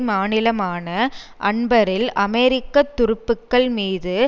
மாநிலமான அன்பரில் அமெரிக்க துருப்புக்கள் மீது